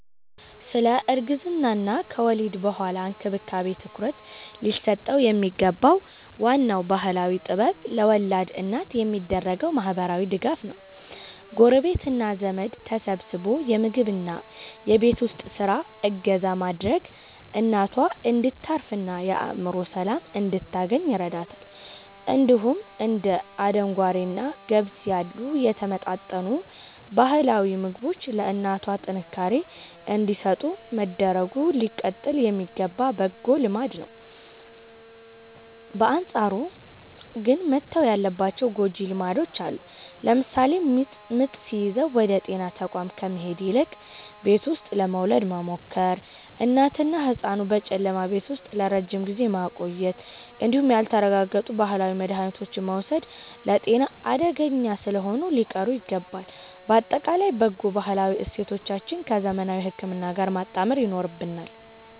ስለ እርግዝናና ከወሊድ በኋላ እንክብካቤ ትኩረት ሊሰጠው የሚገባው ዋናው ባህላዊ ጥበብ ለወላድ እናት የሚደረገው ማህበራዊ ድጋፍ ነው። ጎረቤትና ዘመድ ተሰባስቦ የምግብና የቤት ውስጥ ስራ እገዛ ማድረጉ እናቷ እንድታርፍና የአእምሮ ሰላም እንድታገኝ ይረዳታል። እንዲሁም እንደ አደንጓሬና ገብስ ያሉ የተመጣጠኑ ባህላዊ ምግቦች ለእናቷ ጥንካሬ እንዲሰጡ መደረጉ ሊቀጥል የሚገባ በጎ ልማድ ነው። በአንጻሩ ግን መተው ያለባቸው ጎጂ ልማዶች አሉ። ለምሳሌ ምጥ ሲይዝ ወደ ጤና ተቋም ከመሄድ ይልቅ ቤት ውስጥ ለመውለድ መሞከር፣ እናትንና ህጻኑን በጨለማ ቤት ውስጥ ለረጅም ጊዜ ማቆየት እንዲሁም ያልተረጋገጡ ባህላዊ መድሃኒቶችን መውሰድ ለጤና አደገኛ ስለሆኑ ሊቀሩ ይገባል። ባጠቃላይ በጎ ባህላዊ እሴቶቻችንን ከዘመናዊ ህክምና ጋር ማጣመር ይኖርብናል።